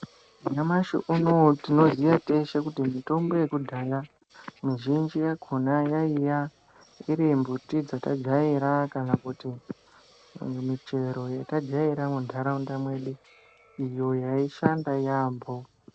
Nyamashi unowu tinoziya teshe kuti mitombo yekudhaya, mizhinji yakhona yaiya ,iri mbuti dzatajaira kana kuti imwe michero yatajaira muntharaunda mwedu, iyo yaishanda yaampho.